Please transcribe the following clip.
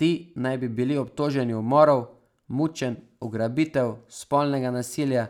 Ti naj bi bili obtoženi umorov, mučenj, ugrabitev, spolnega nasilja,